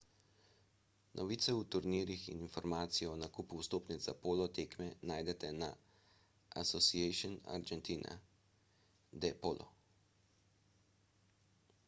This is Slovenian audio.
novice o turnirjih in informacije o nakupu vstopnic za polo tekme najdete pri asociacion argentina de polo